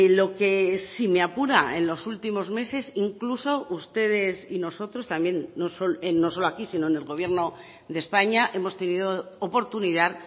lo que si me apura en los últimos meses incluso ustedes y nosotros también no solo aquí sino en el gobierno de españa hemos tenido oportunidad